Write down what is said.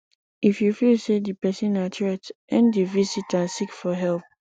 if you feel sey di person na threat end di visit and seek for help